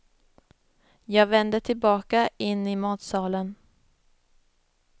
Jag vände tillbaka in i matsalen.